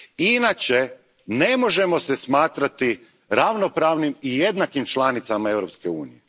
Inače, ne možemo se smatrati ravnopravnim i jednakim članicama Europske unije.